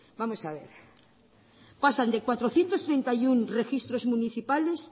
vamos a ver pasan de cuatrocientos treinta y uno registros municipales